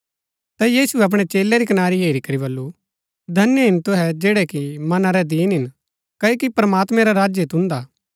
ता यीशुऐ अपणै चेलै री कनारी हेरी करी बल्लू धन्य हिन तुहै जैड़ै कि मना रै दीन हिन क्ओकि प्रमात्मैं रा राज्य तुन्दा